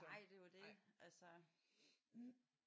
Nej det er jo det altså